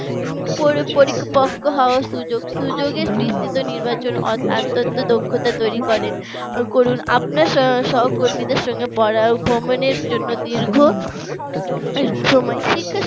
পরিপক্ক হওয়ার সুযোগ সুযোগের বিস্তৃত নির্বাচন আস্তে আস্তে দক্ষতা তৈরি করে আপনার সহকর্মীদের জন্য পড়া ভ্রমণের জন্য দীর্ঘ সময় শিক্ষা